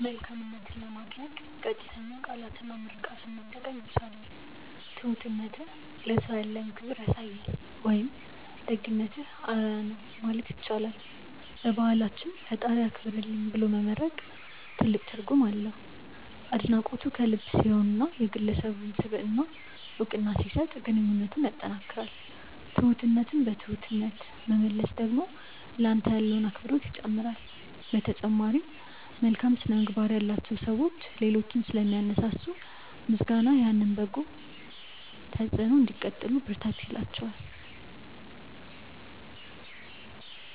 መልካምነትን ለማድነቅ ቀጥተኛ ቃላትና ምርቃትን መጠቀም ይቻላል። "ትሁትነትህ ለሰው ያለህን ክብር ያሳያል" ወይም "ደግነትህ አርአያ ነው" ማለት ይቻላል። በባህላችን "ፈጣሪ ያክብርልኝ" ብሎ መመርቅ ትልቅ ትርጉም አለው። አድናቆቱ ከልብ ሲሆንና የግለሰቡን ስብዕና እውቅና ሲሰጥ ግንኙነትን ያጠናክራል። ትሁትነትን በትሁትነት መመለስ ደግሞ ለአንተ ያለውን አክብሮት ይጨምራል። በተጨማሪም፣ መልካም ስነ-ምግባር ያላቸው ሰዎች ሌሎችን ስለሚያነሳሱ፣ ምስጋናህ ያንን በጎ ተጽዕኖ እንዲቀጥሉ ብርታት ይላቸዋል።